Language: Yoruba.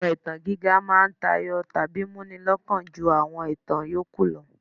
Àwọn ìtàn gíga máa ń tayọ tàbí múni lọ́kàn ju àwọn ìtàn yòókù lọ.